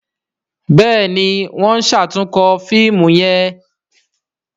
Béèni wón ṣatunkọ fíìmù yén.